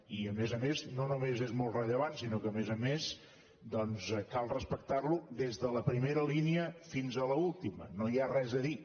i a més a més no només és molt rellevant sinó que a més a més doncs cal respectarlo des de la primera línia fins a l’última no hi ha res a dir